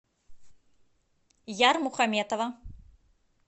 ярмухаметова